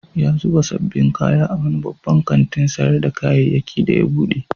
Ya zuba sabbin kaya a wani babban kantin sayar da kayyaki da ya bude.